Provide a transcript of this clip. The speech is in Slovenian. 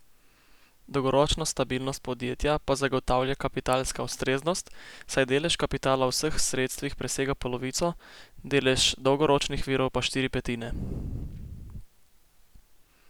Dolgoročno stabilnost podjetja pa zagotavlja kapitalska ustreznost, saj delež kapitala v vseh sredstvih presega polovico, delež dolgoročnih virov pa štiri petine.